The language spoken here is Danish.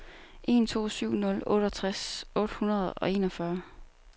en to syv nul otteogtres otte hundrede og enogfyrre